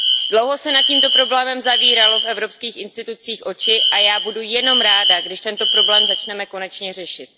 Dlouho se nad tímto problémem zavíraly v evropských institucích oči a já budu jenom ráda, když tento problém začneme konečně řešit.